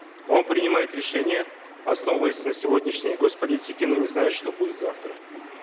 он принимает решение основываясь на сегодняшней гос политике но не знает что будет завтра